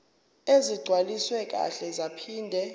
ezigcwaliswe kahle zaphinde